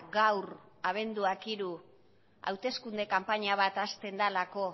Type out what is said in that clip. gaur abenduak hiru hauteskunde kanpaina bat hasten delako